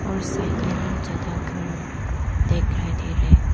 और साइड में बहुत ज्यादा घर दिखाई दे रहा है।